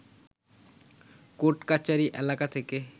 কোর্টকাচারি এলাকা থেকে